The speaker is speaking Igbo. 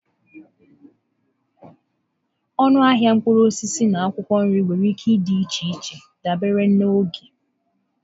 Ọnụ ahịa mkpụrụ osisi na akwụkwọ nri nwere ike ịdị iche dabere na oge.